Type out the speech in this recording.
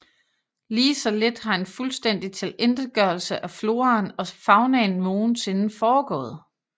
Lige så lidt har en fuldstændig tilintetgørelse af floraen og faunaen nogensinde foregået